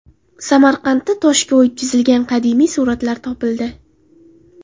Samarqandda toshga o‘yib chizilgan qadimiy suratlar topildi.